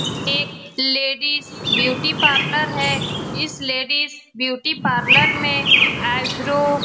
एक ladies beauty parlour है इस लेडिज ब्यूटी पार्लर में आईब्रो --